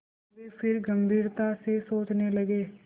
वे फिर गम्भीरता से सोचने लगे